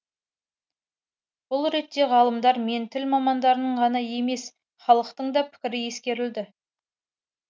бұл ретте ғалымдар мен тіл мамандарының ғана емес халықтың да пікірі ескеріледі